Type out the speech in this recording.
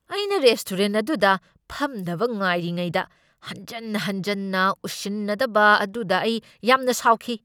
ꯑꯩꯅ ꯔꯦꯁꯇꯣꯔꯦꯟꯠ ꯑꯗꯨꯗ ꯐꯝꯅꯕ ꯉꯥꯏꯔꯤꯉꯩꯗ, ꯍꯟꯖꯟ ꯍꯟꯖꯟꯅ ꯎꯁꯤꯟꯅꯗꯕ ꯑꯗꯨꯗ ꯑꯩ ꯌꯥꯝꯅ ꯁꯥꯎꯈꯤ ꯫